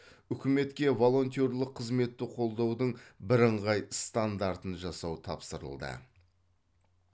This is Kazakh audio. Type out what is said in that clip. үкіметке волонтерлік қызметті қолдаудың бірыңғай стандартын жасау тапсырылды